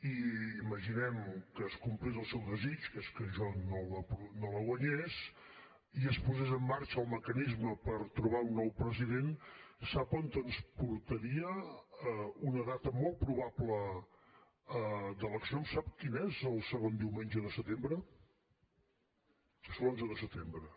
i imaginem que es complís el seu desig que és que jo no la guanyés i es posés en marxa el mecanisme per trobar un nou president sap a on ens portaria una data molt probable d’eleccions sap quin és el segon diumenge de setembre és l’onze de setembre